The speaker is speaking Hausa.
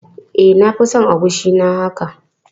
E, na fi son agushi na haka.